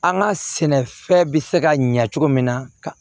An ka sɛnɛfɛn bɛ se ka ɲɛ cogo min na